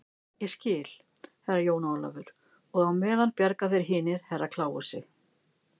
Ég skil, Herra Jón Ólafur, og á meðan bjarga þeir hinir Herra Kláusi.